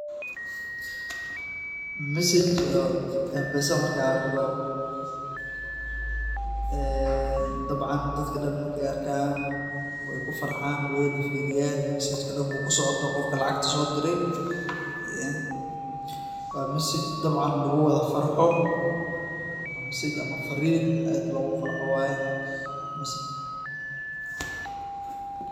message mpesa markaad aragtoo, ee dabcaan dadka dhan markay arkaan way kufarxaan wanna firiiyaan mesejkaaa dhankuu kuusocdo, qofkaa lacagta soo dirty, waa mesej dhabcan lugu wada farxoo. waa mesej misee fariin aad loogu wada farxoo waye